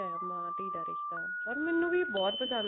ਮਾਂ ਧੀ ਰਿਸ਼ਤਾ or ਮੈਨੂੰ ਵੀ ਬਹੁਤ ਪਸੰਦ